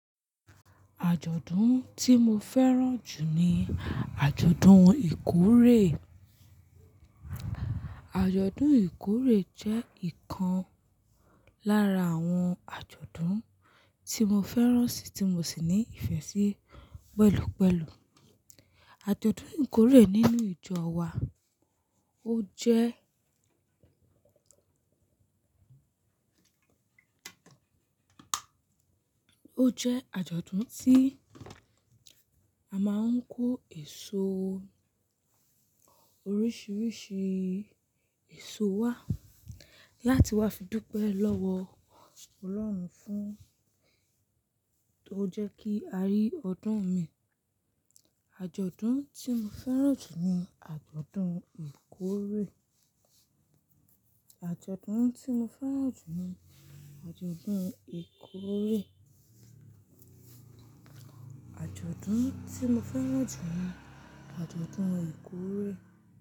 Àjọ̀dún tí mo fẹ́ràn jù ní àjọ̀dún ìkórè. Àjọ̀dún ìkórè jẹ́ ìkan lára àwọn àjọ̀dún tí mo fẹ́ràn sì tí mo sì ní ìfẹ́ sí pẹ̀lúpẹ̀lú. Àjọ̀dún ìkórè nínú ìjọ wa ó jẹ́, ó jẹ́ àjọ̀dún tí a máa ń kó èso oríṣiríṣi èso wá láti wa fi dúpẹ́ lọ́wọ́ Ọlọ́run fún tó jẹ́ kí a rí ọdún mìí. Àjọ̀dún tí mo fẹ́ràn jù ní àjọ̀dún ìkórè. Àjọ̀dún tí mo fẹ́ràn jù ní àjọ̀dún ìkórè. Àjọ̀dún tí mo fẹ́ràn jù ní àjọ̀dún ìkórè.